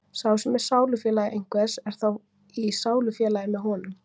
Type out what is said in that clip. sá sem er sálufélagi einhvers er þá í sálufélagi með honum